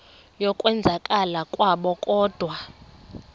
yokwenzakala kwabo kodwa